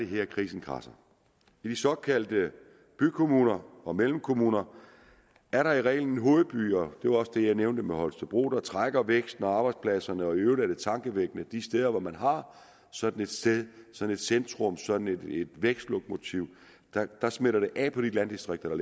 her krisen kradser i de såkaldte bykommuner og mellemkommuner er der i reglen hovedbyer det var også det jeg nævnte med holstebro der trækker væksten og arbejdspladserne og i øvrigt er det tankevækkende at de steder hvor man har sådan et sted sådan et centrum sådan et vækstlokomotiv smitter det af på de landdistrikter der